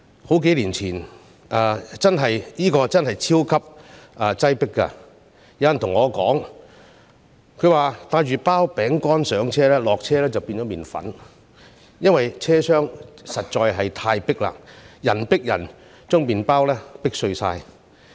這個車站真的超級擠迫，曾有人對我說，如果帶一包餅乾上車，下車時會變成麵粉，因為車廂實在太擠迫，人迫人便把餅乾壓碎了。